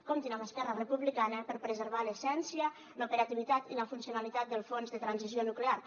comptin amb esquerra republicana per preservar l’essència l’operativitat i la funcionalitat del fons de transició nuclear